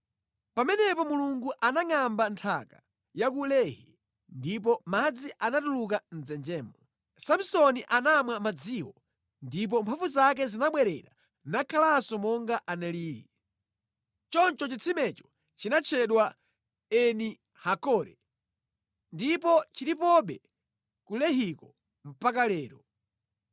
Pamenepo Mulungu anangʼamba nthaka ku Lehi, ndipo madzi anatuluka mʼdzenjemo. Samsoni anamwa madziwo, ndipo mphamvu zake zinabwerera nakhalanso monga analili. Choncho chitsimecho chinatchedwa Eni-Hakore, ndipo chilipobe ku Lehiko mpaka lero.